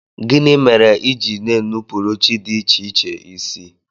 Gịnị mere i ji na-enupụrụ chi dị iche iche isi?